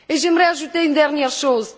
J'aimerais ajouter une dernière chose.